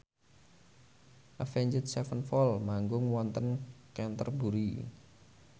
Avenged Sevenfold manggung wonten Canterbury